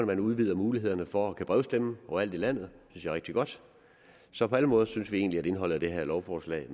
man udvider mulighederne for at kunne brevstemme overalt i landet det synes er rigtig godt så på alle måder synes vi egentlig at indholdet af det her lovforslag